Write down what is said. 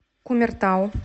кумертау